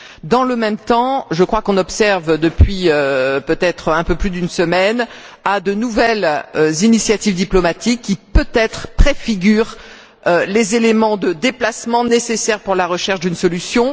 Dans le même temps, je crois qu'on observe, depuis un peu plus d'une semaine, de nouvelles initiatives diplomatiques qui, peut être, préfigurent les éléments de changement nécessaires pour la recherche d'une solution.